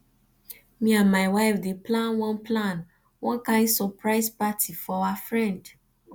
me and my wife dey plan one plan one kain surprise party for our friend